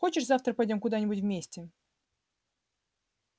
хочешь завтра пойдём куда-нибудь вместе